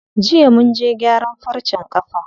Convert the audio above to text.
Jiya munje gyaran farcen ƙafa.